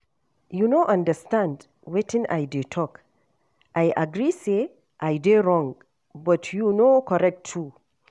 You no understand wetin I dey talk. I agree say I dey wrong but you no correct too